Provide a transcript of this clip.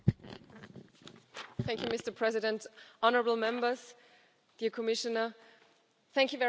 Mr President, honourable Members, Commissioner, thank you very much for your remarks.